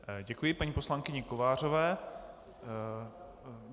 Děkuji paní poslankyni Kovářové.